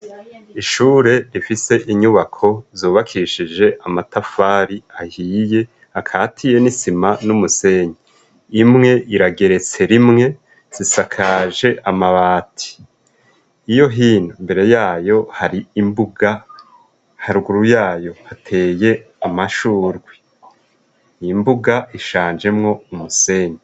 Ishure rifise inyubako zobakishije amatafari ahiye akatiye n'isima n'umusenyi imwe irageretse rimwe zisakaje amabati iyo hino mbere yayo hari imbuga haruguru yayo hateye amashuri iimbuga ishanjemwo umusenge.